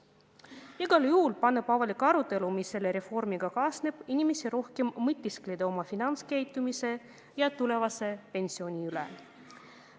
Aga igal juhul paneb avalik arutelu, mis selle reformiga kaasneb, inimesi rohkem mõtisklema oma finantskäitumise ja tulevase pensioni üle.